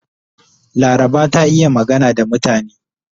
Laraba ta iya magana da mutane.